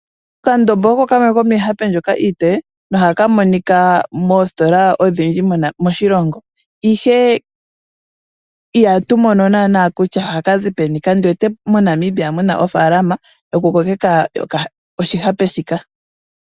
Okandombo oko kamwe komiihape mbyoka iipe nohaka monika moositola odhindji moshilogo. Ihe uhatu mono naanaa kutya ohaka zi peni . Kandiwete moNamibia muna ofaalama yoku kokeka oshihape shika.